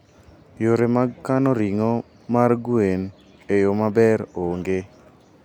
Yore mag kano ring'o mar gwen e yo maber onge.